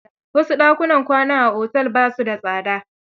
Wasu dakunan kwanan a otel ba su da tsada.